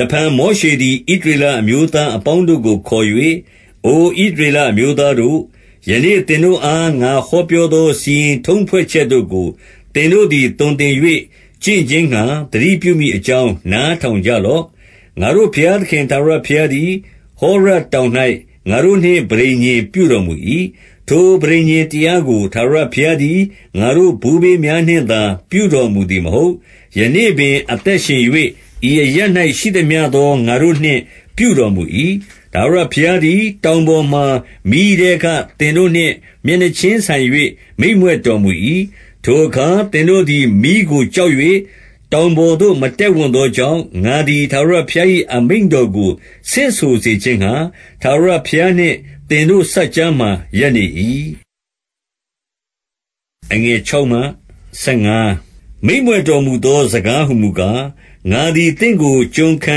တဖန် မောရှေသည် ဣသရေလအမျိုးသား အပေါင်းတို့ကိုခေါ်၍၊ အိုဣသရေလအမျိုးသားတို့၊ ယနေ့ သင်တို့အား ငါဟောပြောသော စီရင်ထုံးဖွဲ့ချက်တို့ကို သင်တို့သည် သွန်သင်၍ ကျင့်ခြင်းငှာ သတိပြုမည် အကြောင်း နားထောင်ကြလော့။ 2 ငါတို့ဘုရားသခင် ထာဝရဘုရားသည် ဟောရပ် တောင်၌ ငါတို့နှင့် ပဋိညာဉ်ပြုတော်မူ၏။ 3 ထိုပဋိညာဉ်တရားကို ထာဝရဘုရားသည် ငါတို့ ဘိုးဘေးများနှင့်သာ ပြုတော်မူသည်မဟုတ်။ ယနေ့ပင် အသက်ရှင်၍ ဤအရပ်၌ ရှိသမျှသော ငါတို့နှင့် ပြုတော်မူ၏။ 4 ထာဝရဘုရားသည် တောင်ပေါ်မှာ မီးထဲက သင်တို့နှင့် မျက်နှာချင်းဆိုင်၍ မိန့်မြွက်တော်မူ၏။ 5 ထိုအခါ သင်တို့သည် မီးကိုကြောက်၍ တောင် ပေါ်သို့ မတက်ဝံ့သောကြောင့်၊ ငါသည် ထာဝရဘုရား၏ အမိန့်တော်ကို ဆင့်ဆိုခြင်းငှာ၊ ထာဝရဘုရားနှင့် သင်တို့ စပ်ကြားမှာ ရပ်နေ၏။ 6 မိန့်မြွက်တော်မူသော စကားဟူမူကား၊ ငါသည် သင့်ကို ကျွန်ခံ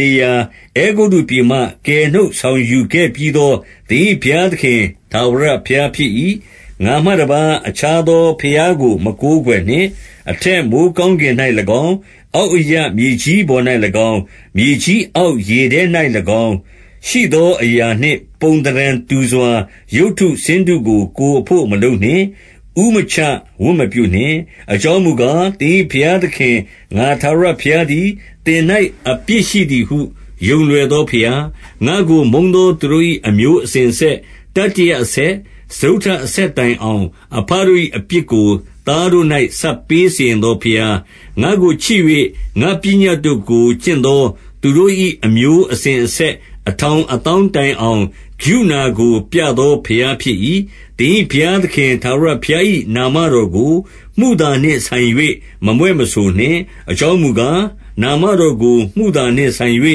နေရာ အဲဂုတ္တုပြည်မှ ကယ်နှုတ်ဆောင်ယူ ခဲ့ပြီးသော သင်၏ဘုရားသခင် ထာဝရဘုရား ဖြစ်၏။ 7 ငါမှတပါး အခြားသောဘုရားကို မကိုးကွယ်နှင့်။ 8 အထက်မိုဃ်းကောင်းကင်၌၎င်း၊ အောက်အရပ် မြေကြီးပေါ်၌၎င်း၊ မြေကြီးအောက် ရေထဲ၌၎င်း ရှိသောအရာနှင့် ပုံသဏ္ဍာန်တူစွာ ရုပ်တုဆင်းတုကို ကိုယ်အဘို့ မလုပ်နှင့်။ 9 ဦးမချ၊ ဝတ်မပြုနှင့်။ အကြောင်းမူကား၊ သင်၏ဘုရားသခင်၊ ငါထာဝရဘုရားသည် သင်၌ အပြစ်ရှိသည်ဟု ယုံလွယ်သောဘုရား၊ ငါ့ကိုမုန်းသောသူ တို့၏ အမျိုးအစဉ်အဆက်၊ တတိယအဆက်၊ စတုတ္ထ အဆက်တိုင်အောင်၊ အဘတို့၏ အပြစ်ကို သားတို့၌ ဆပ်ပေးစီရင်သောဘုရား၊ 10 ငါ့ကိုချစ်၍ ငါ့ပညတ်တို့ကိုကျင့်သော သူတို့၏ အမျိုးအစဉ်အဆက် အထောင်အသောင်းတိုင်အောင် ကရုဏာကို ပြသောဘုရား ဖြစ်၏။ 11 သင်၏ဘုရားသခင် ထာဝရဘုရား၏ နာမ တော်ကို မုသာနှင့်ဆိုင်၍ မမြွက်မဆိုနှင့်။ အကြောင်းမူ ကား၊ နာမတော်ကို မုသာနှင့်ဆိုင်၍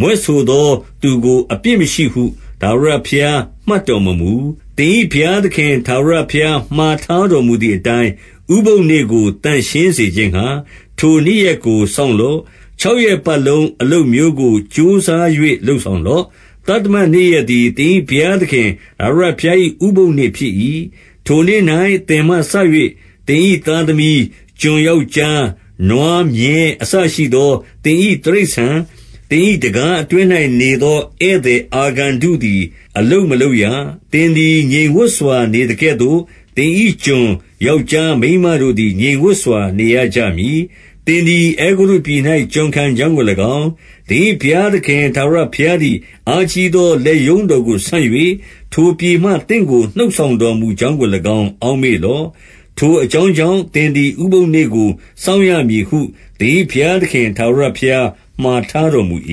မြွက်ဆိုသောသူကို အပြစ်မရှိဟု ထာဝရဘုရား မှတ်တော်မမူ။ 12 သင်၏ဘုရားသခင် ထာဝရဘုရား မှာထား တော်မူသည်အတိုင်း၊ ဥပုသ်နေ့ကို သန့်ရှင်းစေခြင်းငှာ၊ ထိုနေ့ရက်ကို စောင့်လော့။ 13 ခြောက်ရက်ပတ်လုံး အလုပ်မျိုးကို ကြိုးစား၍ လုပ်ဆောင်လော့။ 14 သတ္တမနေ့ရက်သည် သင်၏ဘုရားသခင် ထာဝရဘုရား၏ ဥပုသ်နေ့ဖြစ်၏။ ထိုနေ့၌ သင်မှစ၍ သင်၏သားသမီး၊ ကျွန်ယောက်ျား မိန်းမ၊ နွားမြည်း အစရှိသော သင်၏တိရစ္ဆာန်၊ သင်၏တံခါးအတွင်း၌ နေ သော ဧည့်သည်အာဂန္တုသည် အလုပ်မလုပ်ရ။ သင်သည် ငြိမ်ဝပ်စွာ နေသကဲ့သို့၊ သင်၏ကျွန်ယောက်ျား မိန်းမ တို့သည် ငြိမ်ဝပ်စွာ နေရကြမည်။ 15 သင်သည် အဲဂုတ္တုပြည်၌ ကျွန်ခံကြောင်းကို၎င်း၊ သင်၏ဘုရားသခင် ထာဝရဘုရားသည် အားကြီးသော လက်ရုံးတော်ကိုဆန့်၍၊ ထိုပြည်မှ သင့်ကို နှုတ်ဆောင် တော်မူကြောင်းကို၎င်း အောက်မေ့လော့။ ထိုအကြောင်း ကြောင့်၊ သင်သည် ဥပုပ်နေ့ကို စောင့်ရမည်ဟု သင်၏ ဘုရားသခင် ထာဝရဘုရားမှာထားတော်မူ၏။ 16 သင်၏ဘု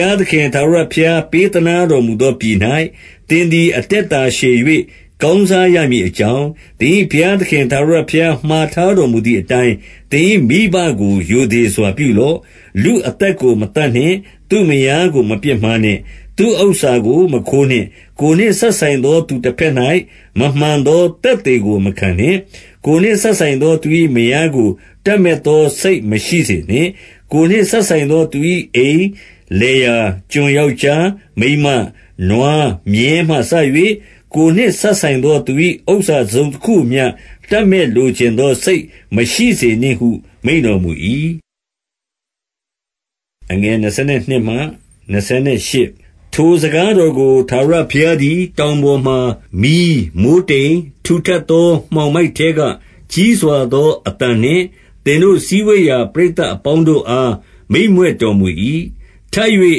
ရားသခင် ထာဝရဘုရား ပေးသနား တော်မူသောပြည်၌ သင်သည် အသက်တာရှည်၍ ကောင်းစားရမည်အကြောင်း၊ သင်၏ဘုရားသခင် ထာဝရဘုရား မှာထားတော်မူသည်အတိုင်း၊ သင်၏ မိဘကို ရိုသေစွာပြုလော့။ 17 လူအသက်ကို မသတ်နှင့်။ 18 သူ့မယားကိုမပြစ်မှားနှင့်။ 19 သူ့ဥစ္စာကို မခိုးနှင့်။ 20 ကိုယ်နှင့်စပ်ဆိုင်သောသူ တဘက်၌ မမှန်သော သက်သေကို မခံနှင့်။ 21 ကိုယ်နှင့်စပ်ဆိုင်သော သူ၏မယားကို တပ်မက် သောစိတ် မရှိစေနှင့်။ ကိုယ်နှင့်စပ်ဆိုင်သော သူ၏အိမ်၊ လယ်ယာ၊ ကျွန်ယောက်ျား မိန်းမ၊ နွားမြည်းမှစ၍ ကိုယ်နှင့်စပ်ဆိုင်သော သူ၏ဥစ္စာ တစုံတခုမျှ တပ်မက် လိုချင်သောစိတ် မရှိစေနှင့်ဟု မိန့်တော်မူ၏။ 22 ထိုစကားတော်ကို ထာဝရဘုရားသည် တောင် ပေါ်မှာ မီး၊ မိုဃ်းတိမ်၊ ထူထပ်သော မှောင်မိုက်ထဲက ကြီးစွာသောအသံနှင့် သက်တို့စည်းဝေးရာ ပရိသတ် အပေါင်းတို့အား မိန့်မြွက်တော်မူ၏။ ထပ်၍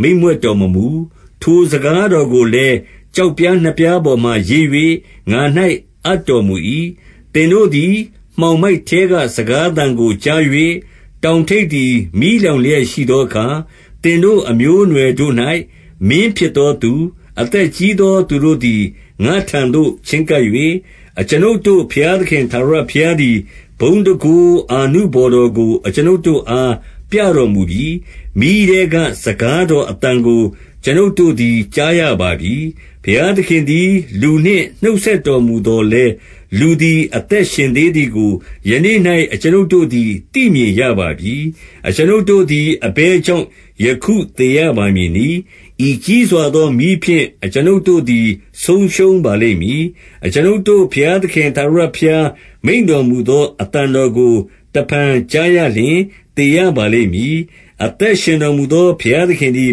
မိန့်မြွက် တော်မမူ။ ထိုစကားတော်ကိုလည်း ကျောက်ပြားနှစ်ပြား ပေါ်မှာရေး၍ ငါ၌အပ်တော်မူ၏။ 23 သင်တို့သည် မှောင်မိုက်ထဲက စကားသံကို ကြား၍၊ တောင်ထိပ်သည် မီးလောင်လျက်ရှိသောအခါ၊ သင်တို့မျိုးနွယ်တို့၌ မင်းဖြစ်သောသူ၊ အသက်ကြီးသူ တို့သည် ငါ့ထံသို့ချဉ်းကပ်၍၊ 24 အကျွန်ုပ်တို့ ဘုရားသခင် ထာဝရဘုရားသည် ဘုန်းတန်ခိုးအာနုဘော်တော်ကို အကျွန်ုပ်တို့အား ပြတော် မူပြီ။ မီးထဲက စကားတော်အသံကို အကျွန်ုပ်တို့သည် ကြားရပါပြီ။ ဘုရားသခင်သည် လူနှင့်နှုတ်ဆက်တော် မူသော်လည်း၊ လူသည် အသက်ရှင်သေးသည်ကို၊ ယနေ့၌ အကျွန်ုပ်တို့သည် သိမြင်ရပါပြီ။ 25 အကျွန်ုပ်တို့သည် အဘယ်ကြောင့် ယခုသေရပါ မည်နည်း။ ဤကြီးစွာသောမီးဖြင့် အကျွန်ုပ်တို့သည် ဆုံးရှုံးပါလိမ့်မည်။ အကျွန်ုပ်တို့ဘုရားသခင် ထာဝရ ဘုရားမိန့်တော်မူသော အသံတော်ကိုတဖန်ကြားရလျှင် သေရပါလိမ့်မည်။ 26 အသက်ရှင်တော်မူသော ဘုရားသခင်သည်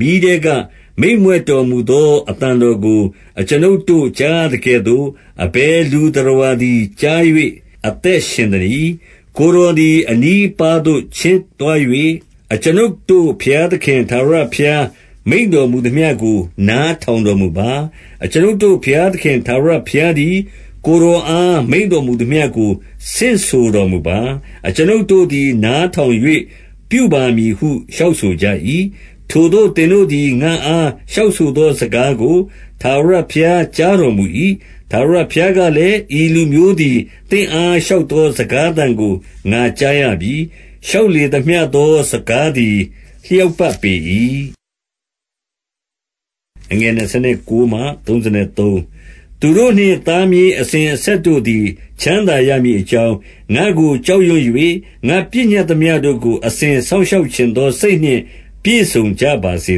မီးထဲက မိန့်မြွက်တော် မူသော အသံတော်ကို အကျွန်ုပ်တို့ ကြားရ သကဲ့သို့ အဘယ်လူ သတ္တဝါသည် ကြား၍ အသက်ရှင် သနည်း။ 27 ကိုယ်တော်သည် အနီးအပါးသို့ ချဉ်းသွား၍၊ အကျွန်ုပ်တို့ဘုရားသခင် ထာဝရဘုရား မိန့်တော်မူ သမျှကို နားထောင်တော်မူပါ။ အကျွန်ုပ်တို့ဘုရားသခင် ထာဝရဘုရားသည် ကိုယ်တော်အား မိန့်တော်မူသမျှကို ဆင့်ဆိုတော်မူပါ။ အကျွန်ုပ်တို့သည် နားထောင်၍ ပြုပါမည်ဟု လျှောက်ဆိုကြ၏။ 28 ထိုသို့ သင်တို့သည် ငါ့အားလျှောက်သော စကားကို ထာဝရဘုရား ကြားတော်မူ၏။ ထာဝရဘုရား ကလည်း၊ ဤလူမျိုးသည် သင့်အား လျှောက်သော စကားသံကို ငါကြားရပြီ။ လျှောက်လေသမျှသော စကား သည် လျောက်ပတ်ပေ၏။ 29 သူတို့နှင့် သားမြေးအစဉ်အဆက်တို့သည် ချမ်းသာရမည်အကြောင်း၊ ငါ့ကို ကြောက်ရွံ့၍ ငါပညတ် သမျှတို့ကို အစဉ်စောင့်ရှောက်ချင်သောစိတ်နှင့် ပြည့်စုံ ကြပါစေ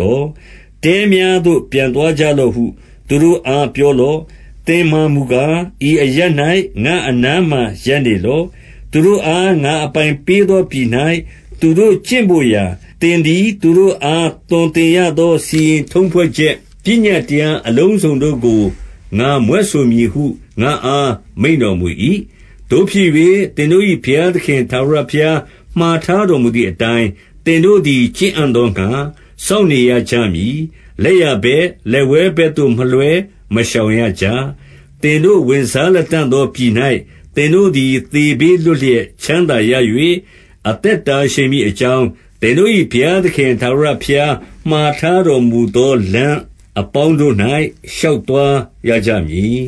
သော။ 30 တဲများသို့ ပြန်သွားကြလော့ဟု သူတို့အား ပြောလော့။ 31 သင်မှာမူကား၊ ဤအရပ်၌ ငါ့အနားမှာရပ်နေ လော့။ သူတို့အား ငါအပိုင်ပေးသော ပြည်၌ သူတို့ကျင့်ဘို့ ရာ သင်သည် သူတို့အား သွန်သင်ရသော စီရင်ထုံး ဖွဲ့ချက်၊ ပညတ်တရားအလုံးစုံတို့ကို ငါမြွက်ဆိုမည်ဟု ငါ့အား မိန့်တော်မူ၏။ 32 သို့ဖြစ်၍ သင်တို့၏ ဘုရားသခင်ထာဝရဘုရား မှာထားတော်မူသည်အတိုင်း၊ သင်တို့သည် ကျင့်အံ့သော ငှာ စောင့်နေရကြမည်။ လက်ျာဘက်၊ လက်ဝဲဘက်သို့ မလွှဲမရှောင်ရကြ။ 33 သင်တို့ ဝင်စားလတံ့သောပြည်၌ သင်တို့သည် သေဘေးလွတ်လျက် ချမ်းသာရ၍၊ အသက်တာရှည်မည် အကြောင်း၊ သင်တို့၏ ဘုရားသခင်ထာဝရဘုရား မှာထားတော်မူသော လမ်းအပေါင်းတို့၌ ရှောက်သွား ရကြမည်